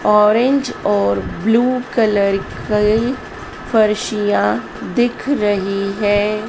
Orange और blue colour कई फर्शिया दिख रही है।